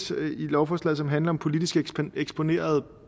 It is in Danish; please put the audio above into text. i lovforslaget som handler om politisk eksponerede